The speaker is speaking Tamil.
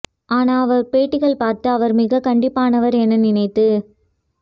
ஆனா அவர் பேட்டிகள் பார்த்து அவர் மிக கண்டிப்பானவர் என நினைத்து